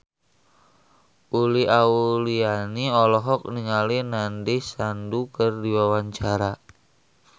Uli Auliani olohok ningali Nandish Sandhu keur diwawancara